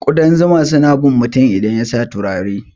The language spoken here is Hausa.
Kudan zuma suna bin mutum idan yasa turare.